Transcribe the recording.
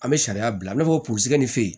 An bɛ sariya bila i n'a fɔ purusikɛ nin fe yen